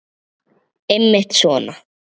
Einmitt svona.